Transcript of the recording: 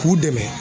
K'u dɛmɛ